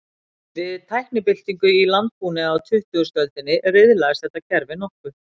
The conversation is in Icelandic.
Við tæknibyltingu í landbúnaði á tuttugustu öldinni, riðlaðist þetta kerfi nokkuð.